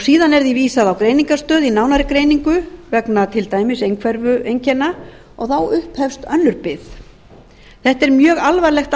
síðan er því vísað á greiningarstöð í nánari greiningu vegna til dæmis einhverfueinkenna og þá upphefst önnur bið þetta er mjög alvarlegt